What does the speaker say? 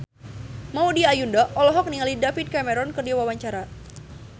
Maudy Ayunda olohok ningali David Cameron keur diwawancara